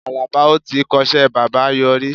Àlàbá o tíi kọ́ṣẹ́ bábà yọrí.